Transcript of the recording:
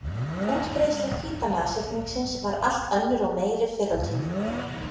Útbreiðsla hvíta nashyrningsins var allt önnur og meiri fyrr á tímum.